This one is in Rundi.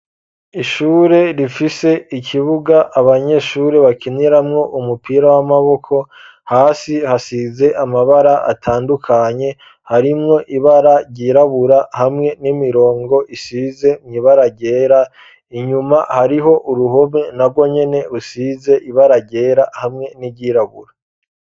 Ishure rifise ikibuga abanyeshure bakiniramwo umupira w'amaboko hasi hasize amabara atandukanye harimwo ibara ryirabura hamwe n'imirongo isize mw'ibara ryera inyuma hariho uruhome na rwo nyene usize ibara ryera hamwe niryirabura.